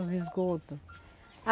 Os esgotos.